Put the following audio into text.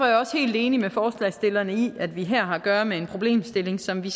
jeg også helt enig med forslagsstillerne i at vi her har at gøre med en problemstilling som vi